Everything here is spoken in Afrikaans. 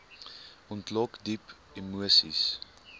ontlok diep emoseis